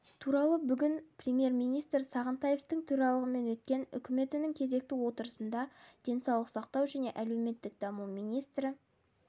туралы бүгін премьер-министр сағынтаевтың төрағалығымен өткен үкіметінің кезекті отырысында денсаулық сақтау және әлеуметтік даму министрі